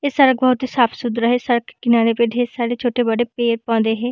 इस सड़क बहुत ही साफ-सुथरा है सड़क के किनारे पे बहुत सारे छोटे-बड़े पेड़ पौधे है।